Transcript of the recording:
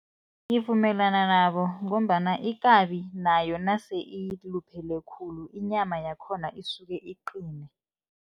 Ngivumelana nabo, ngombana ikabi nayo nase iluphele khulu inyama yakhona isuke iqine.